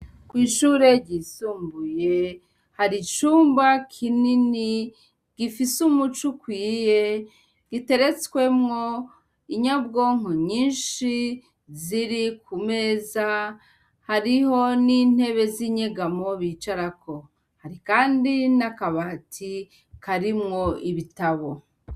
Kw'ishure ryisumbuye hari icumba kinini gifise umuco ukwiye giteretswemwo inyabwonko nyinshi ziri ku meza, hariho n'intebe z'inyegamo bicarako, hari kandi n'akabati karimwo ibitabo.